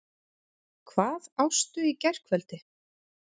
Hvað ástu í gærkvöldi?